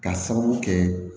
K'a sababu kɛ